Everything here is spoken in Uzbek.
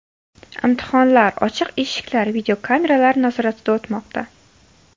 Imtihonlar ochiq eshiklar, videokameralar nazoratida o‘tmoqda.